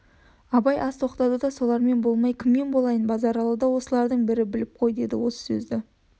абай аз тоқтады да солармен болмай кіммен болайын базаралыда осылардың бірі біліп қой деді осы сөзді